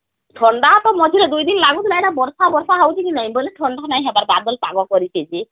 ଥଣ୍ଡା ତା ମଝିରେ ଦୁଇ ଦିନ ଲାଗୁଥିଲା ଏବେ ବର୍ଷା ବର୍ଷା ଲାଗୁଛି କି ନାଇଁ ବୋଲେ ଥଣ୍ଡା ନାଇଁ ହବାର , ବାଦଲ ପାଗ କରିଛି